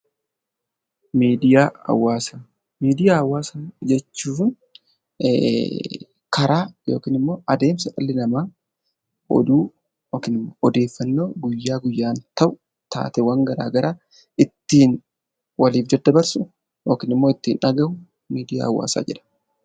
Miidiyaa hawaasaa Miidiyaa hawaasaa jechuun karaa yookiin immoo adeemsa dhalli namaa oduu (odeeffannoo) guyyaa guyyaan ta'u taateewwan garaagaraa ittiin waliif daddabarsu yookiin immoo ittiin dhaga'u miidiyaa hawaasaa jedhama.